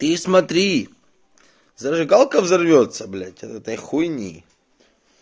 ты смотри зажигалка взорвётся блять от этой хуйни